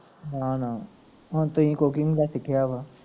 ਨਾ ਨਾ, ਹੁਣ ਤੁਸੀਂ cooking ਦਾ ਸਿੱਖਿਆ ਵਾ